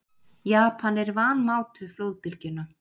Japanar vanmátu flóðbylgjuna